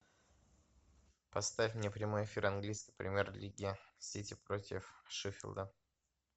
поставь мне прямой эфир английской премьер лиги сити против шеффилда